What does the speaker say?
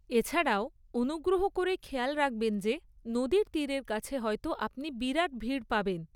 এছাড়াও, অনুগ্রহ করে খেয়াল রাখবেন যে নদীর তীরের কাছে হয়তো আপনি বিরাট ভিড় পাবেন।